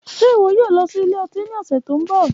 Ṣe iwọ yoo lọ si ilẹ-ọti ni ọsẹ to nbọ?